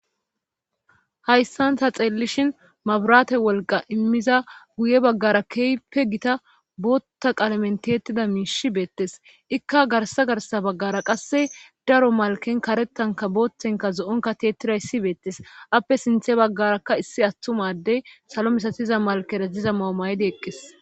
Hayssan ta xeellishin mabraate wolqa immiza guye baggara keeype gita bootta qalamentettida miishi beettes ikka garsa garsa baggara qasse daro malken karettanka booththenka zo'onkateetira issi beettes appe sinthe baggarakka issi attumadey salo misatiza malkeraj jiza mao maydi eqqes